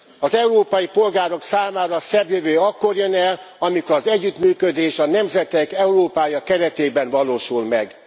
Az európai polgárok számára a szebb jövő akkor jön el, amikor az együttműködés a nemzetek Európája keretében valósul meg.